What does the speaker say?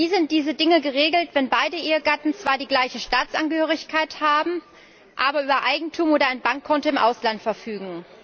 Wie sind diese Dinge geregelt, wenn beide Ehegatten zwar die gleiche Staatsangehörigkeit haben, aber über Eigentum oder ein Bankkonto im Ausland verfügen?